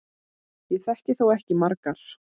Ég þekki þó ekki margar.